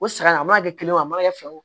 O saɲɔ a mana kɛ kelen ye o a mana kɛ fɛ o